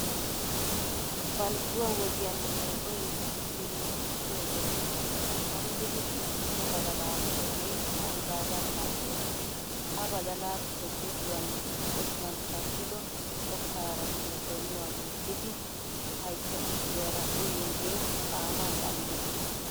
Balgguwa wodiyan meegoy kinchchiriirissiyo wode gombbidi xiixxido badalaa miyogee manggaagan mal"ees. Ha badalaappe gujuwan otuwan kattido kokkaaranne donuwa gujjidi haytta tukkiyara uyiyogee xaamaa xallees.